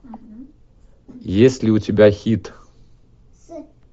есть ли у тебя хит